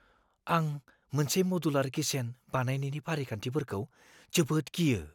आं मोनसे मडुलार किचेन बानायनायनि फारिखान्थिफोरखौ जोबोद गियो।